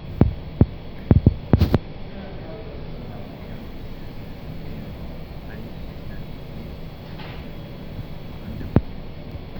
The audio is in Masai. kaiko peebaki ina moyian to sesen